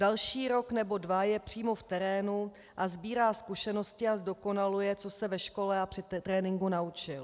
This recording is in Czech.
Další rok nebo dva je přímo v terénu a sbírá zkušenosti a zdokonaluje, co se ve škole a při tréninku naučil.